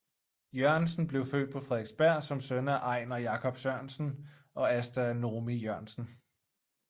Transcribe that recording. Jørgensen blev født på Frederiksberg som søn af Einar Jacob Sørensen og Asta Noomi Jørgensen